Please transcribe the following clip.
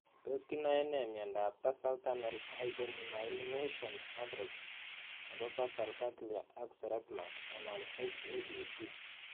Tos kinae ne miondop tarsal tunnel hypomyelination , atrophy nepo basal ganglia ak cerebellum (H ABC)?